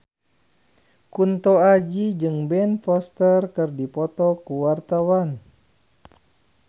Kunto Aji jeung Ben Foster keur dipoto ku wartawan